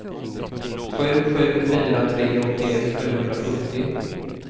sju sju fyra tre åttioett sjuhundrasjuttio